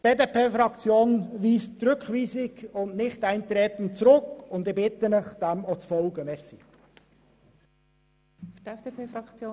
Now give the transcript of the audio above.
Die BDP-Fraktion weist die Rückweisung und das Nichteintreten zurück, und ich bitte Sie, dies ebenfalls zu tun.